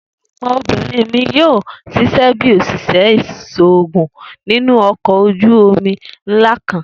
egbon obirin mi yoo ṣiṣẹ bi oṣiṣẹ iṣoogun ninu ọkọ oju omi nla kan.